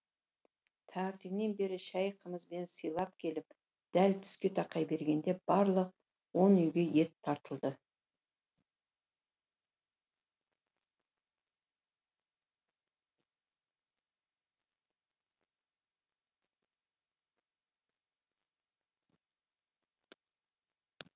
таңертеңнен бері шай қымызбен сыйлап келіп дәл түске тақай бергенде барлық он үйге ет тартылды